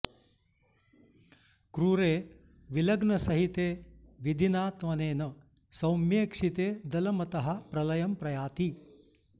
क्रूरे विलग्नसहिते विधिना त्वनेन सौम्येक्षिते दलमतः प्रलयं प्रयाति